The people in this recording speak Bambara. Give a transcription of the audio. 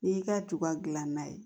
N'i y'i ka tuba gilan ye